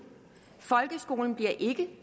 folkeskolen bliver ikke